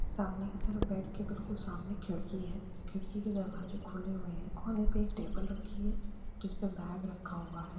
सामने की तरफ बेड के बिल्कुल सामने खिड़की है खिड़की के दरवाजे खुले हैं कोने में एक टेबल रखी है जिसपे बैग रखा हुआ है ।